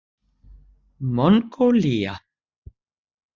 Mongólía